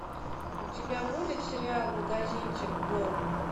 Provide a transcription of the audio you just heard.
у тебя будет сериал магазинчик бо